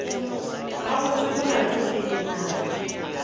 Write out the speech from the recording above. gabotse molato ke eng na